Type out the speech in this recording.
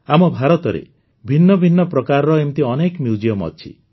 ଆମ ଭାରତରେ ଭିନ୍ନ ଭିନ୍ନ ପ୍ରକାରର ଏମିତି ଅନେକ ମ୍ୟୁଜିୟମ ଅଛି